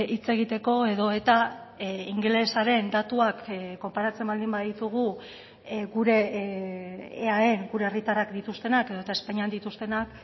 hitz egiteko edo eta ingelesaren datuak konparatzen baldin baditugu gure eaen gure herritarrak dituztenak edota espainian dituztenak